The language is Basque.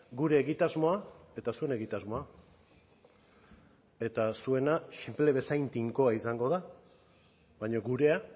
gure egitasmoa eta zuen egitasmoa eta zuena sinple bezain tinkoa izango da baina gurea